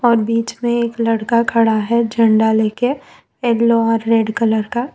और बीच में एक लड़का खड़ा है झंडा लेके येलो और रेड कलर का।